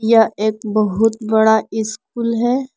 यह एक बहुत बड़ा स्कूल है।